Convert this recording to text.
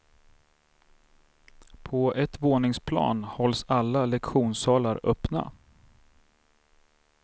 På ett våningsplan hålls alla lektionssalar öppna.